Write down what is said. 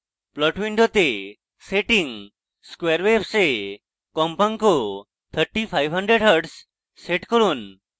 plot window setting square waves এ কম্পাঙ্ক 3500hz set করুন